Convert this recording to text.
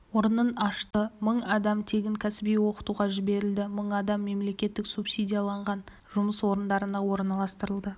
орнын ашты мың адам тегін кәсіби оқытуға жіберілді мың адам мемлекет субсидиялаған жұмыс орындарына орналастырылды